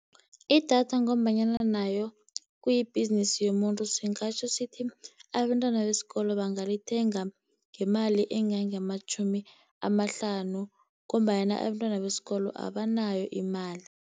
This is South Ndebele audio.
Idatha ngombanyana nayo kuyibhizinisi yomuntu singatjho sithi, abentwana besikolo bangalithenga ngemali engange amatjhumi amahlanu, ngombanyana abentwana besikolo abanayo imali.